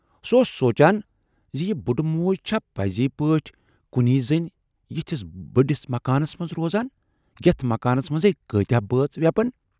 سُہ اوس سوٗنچان زِ یہِ بُڈٕ موج چھا پٔزۍ پٲٹھۍ کُنۍ زٔنۍ یِتھِس بٔڈِس مکانس منز روزان، یتھ مکانس منز ہے کٲتیاہ بٲژ وٮ۪پن۔